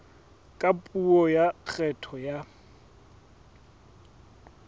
ka puo ya kgetho ya